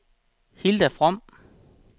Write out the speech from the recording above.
Hilda From